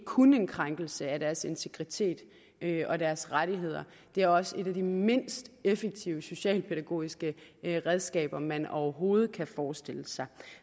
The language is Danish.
kun er en krænkelse af deres integritet og deres rettigheder det er også et af de mindst effektive socialpædagogiske redskaber man overhovedet kan forestille sig